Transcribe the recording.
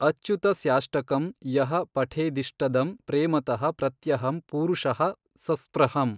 ಅಚ್ಯುತಸ್ಯಾಷ್ಟಕಂ ಯಃ ಪಠೇದಿಷ್ಟದಂ ಪ್ರೇಮತಃ ಪ್ರತ್ಯಹಂ ಪೂರುಷಃ ಸಸ್ಪೃಹಮ್।